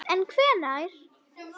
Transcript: En hvenær?